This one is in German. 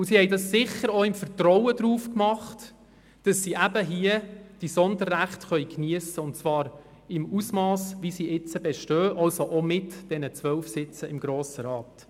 Und sie haben das sicher auch im Vertrauen darauf getan, diese Sonderrechte hier geniessen zu können, und zwar in dem Ausmass, wie sie derzeit bestehen – also auch mit diesen 12 Sitzen im Grossen Rat.